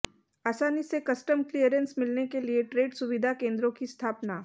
आसानी से custom clearance मिलने के लिए ट्रेड सुविधा केंद्रों की स्थापना